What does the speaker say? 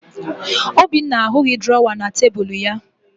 Obinna ahụghị drọwa na tebulu ya